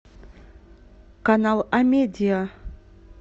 канал амедиа